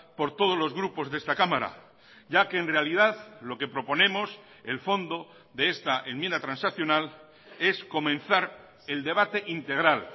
por todos los grupos de esta cámara ya que en realidad lo que proponemos el fondo de esta enmienda transaccional es comenzar el debate integral